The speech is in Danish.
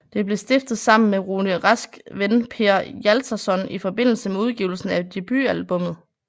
Det blev stiftet sammen med Rune Rasks ven Per Hjaltason i forbindelse med udgivelsen af debutalbummet